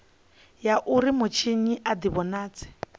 ya uri mutshinyi a divhonadze